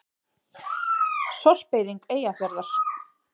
Sorpeyðing Eyjafjarðar.